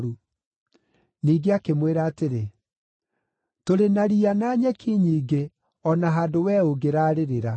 Ningĩ akĩmwĩra atĩrĩ, “Tũrĩ na riya na nyeki nyingĩ, o na handũ wee ũngĩrarĩrĩra.”